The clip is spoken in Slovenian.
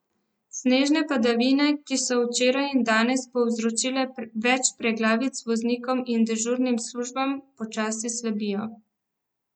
Snežne padavine, ki so včeraj in danes povzročile več preglavic voznikom in dežurnim službam, počasi slabijo.